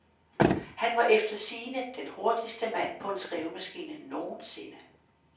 Han var efter sigende den hurtigste mand på en skrivemaskine nogen sinde.